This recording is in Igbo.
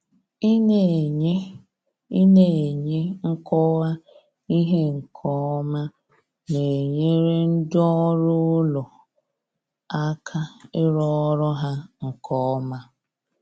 ina enye ina enye nkọwa ihe nke ọma na-enyere ndị ọrụ ụlọ aka ịrụ ọrụ ha nke ọma.